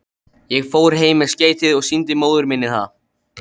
Ég fór heim með skeytið og sýndi móður minni það.